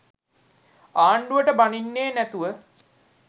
ආණ්ඩුවට බනින්නේ නැතුව